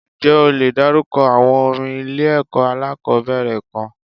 Ǹjẹ́ o le dárúkọ àwọn orin ilé ẹ̀kọ́ alákòbẹ̀rẹ̀ kan?